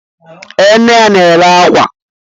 Ee, nne ya na-ere akwa